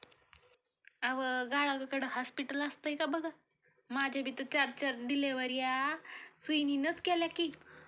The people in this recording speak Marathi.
अवं गावाकडे हास्पिटल असतयं का बघा, माझ्या बी तर चार चार डिलिव्ह्यऱ्या सुईणीनंचं केल्या की